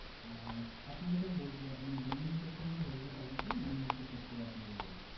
আহ আপনাকে sir বলছি আপনি দুই minutes একটুখানি hold এ থাকুন sir আমি একটু check করে আপনাকে বলছি।